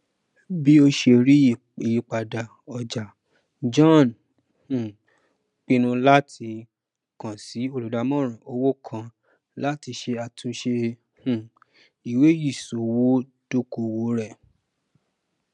bí ó ṣe rí ìyípadà ọjà john um pinnu láti kan sí olùdàmòràn owó kan láti ṣe àtúnṣe um iweiṣòwò ìdókòwò rẹ